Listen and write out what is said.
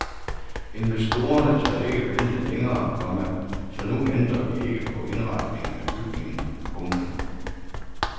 Investorerne tør ikke vente længere, komma så nu ændrer vi ikke på indretningen af bygningen. punktum